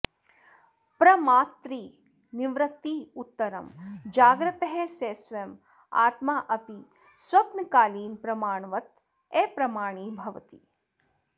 प्रमातृनिवृत्त्युत्तरं जागृतः सः स्वयम् आत्मा अपि स्वप्नकालीनप्रमाणवत् अप्रमाणीभवति